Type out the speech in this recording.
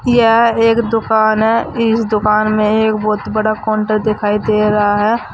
यह एक दुकान है। इस दुकान में एक बोहोत बड़ा कोन्टर दिखाई दे रहा है।